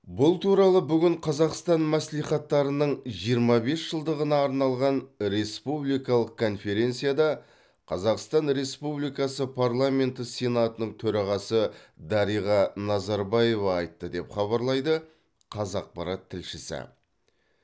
бұл туралы бүгін қазақстан мәслихаттарының жиырма бес жылдығына арналған республикалық конференцияда қазақстан республикасы парламенті сенатының төрағасы дариға назарбаева айтты деп хабарлайды қазақпарат тілшісі